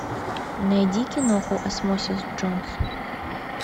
найди киноху осмосис джонс